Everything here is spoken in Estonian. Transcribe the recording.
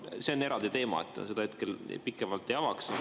Aga see on eraldi teema, seda ma hetkel pikemalt ei avaks.